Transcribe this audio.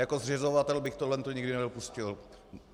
Jako zřizovatel bych tohle nikdy nedopustil.